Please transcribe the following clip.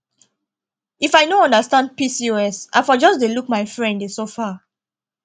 if i no understand pcos i for just dey look my friend dey suffer